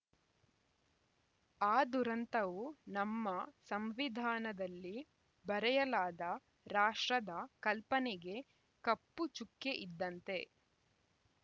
ಆ ದುರಂತವು ನಮ್ಮ ಸಂವಿಧಾನದಲ್ಲಿ ಬರೆಯಲಾದ ರಾಷ್ಟ್ರದ ಕಲ್ಪನೆಗೆ ಕಪ್ಪುಚುಕ್ಕೆಯಿದ್ದಂತೆ